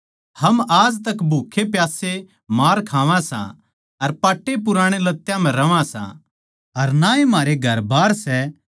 हम आज तक भूक्खेप्यास्से मार खावां सां अर पाट्टेपुराणे लत्यां म्ह रहवां सां अर ना ए म्हारे घरबार सै